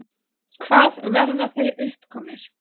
Hvað verða þeir uppkomnir?